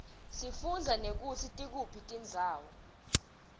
sifundza nekutsi tikuphi tindzawo